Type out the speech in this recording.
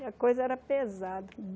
E a coisa era pesada.